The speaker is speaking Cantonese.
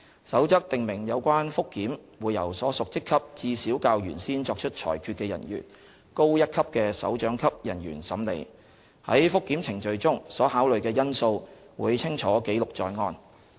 《守則》訂明有關覆檢會由所屬職級至少較原先作出裁決的人員高一級的首長級人員審理，在覆檢程序中所考慮的因素會清楚記錄在案。